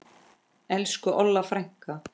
Elsku Olla frænka.